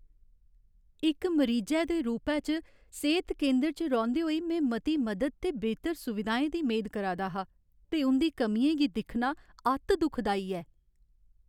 इक मरीजै दे रूपै च, सेह्त केंदर च रौंह्दे होई में मती मदद ते बेहतर सुविधाएं दी मेद करा दा हा, ते उं'दी कमियें गी दिक्खना अत्त दुखदाई ऐ।